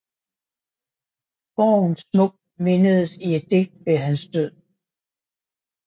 Borgen smukt mindedes i et digt ved hans død